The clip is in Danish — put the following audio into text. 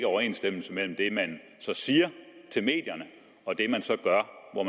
overensstemmelse mellem det man siger til medierne og det man så gør og